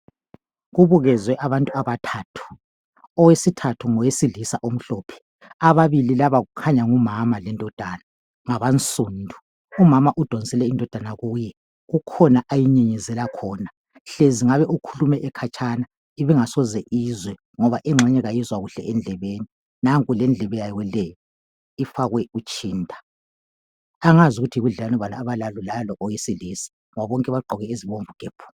Kubukezwe abantu abathathu, owesithathu ngowesilisa omhlophe. Ababili laba kukhanya ngumama lendodana ngabansundu. Umama udonsele indodana kuye, kukhona ayinyenyezela khona, hlezi ngabe ukhulume ekhatshana , ibingasoze izwe. Ngoba engxenye ayizwa kuhle endlebeni. Nanku lendlebe yayo le ifake utshinda. Angaz ukuthi yibudlelwano bani abalalo lalo owesilisa ngoba bonke baqgoke ezibomvu gebhu.